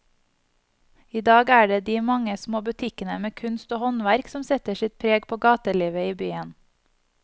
I dag er det de mange små butikkene med kunst og håndverk som setter sitt preg på gatelivet i byen.